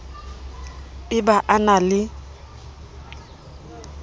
e ba a na le